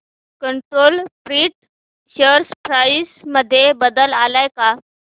control print share price मध्ये बदल आलाय का